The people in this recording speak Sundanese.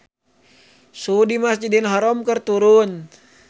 Suhu di Masjidil Haram keur turun